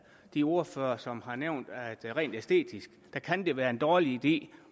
de ordførere som har nævnt at det rent æstetisk kan kan være en dårlig idé